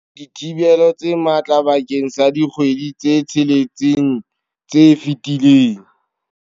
Dithibelo tse matla bakeng sa dikgwedi tse tsheletseng tse fetileng.